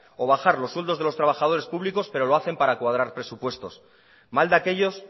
o bajar los sueldos de los trabajadores públicos pero lo hacen para cuadrar presupuestos mal de aquellos